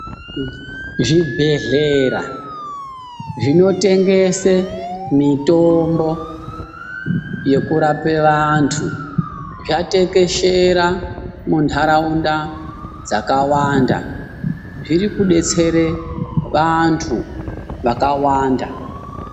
Zvibhedhlera zvinotengese mitombo yekurapa vantu zvatekeshera muntaraunda dzakawanda. Zvirikubetsere vantu vakawanda.